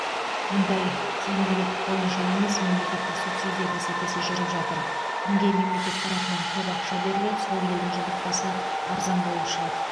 мұнда тиімділік бойынша емес мемлекеттік субсидия бәсекесі жүріп жатыр кімге мемлекет тарапынан көп ақша беріледі сол елдің жұмыртқасы арзан болып шығады